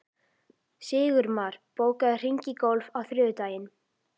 Sigurmar, bókaðu hring í golf á þriðjudaginn.